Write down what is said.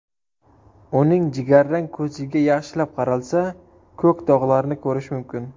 Uning jigarrang ko‘ziga yaxshilab qaralsa, ko‘k dog‘larni ko‘rish mumkin”.